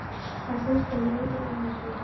Það snertir mig enginn annar, segir hún.